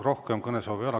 Rohkem kõnesoove ei ole.